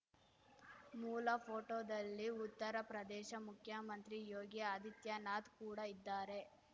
ಮೂಲ ಫೋಟೋದಲ್ಲಿ ಉತ್ತರ ಪ್ರದೇಶ ಮುಖ್ಯಮಂತ್ರಿ ಯೋಗಿ ಆದಿತ್ಯನಾಥ್‌ ಕೂಡ ಇದ್ದಾರೆ